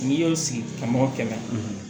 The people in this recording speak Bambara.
N'i y'o sigi ka mɔgɔ kɛlɛ